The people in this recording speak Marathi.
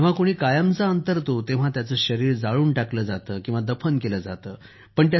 जेव्हा कुणी कायमचा अंतरतो तेव्हा त्याचं शरीर जाळून टाकलं जातं किंवा दफन केलं जातं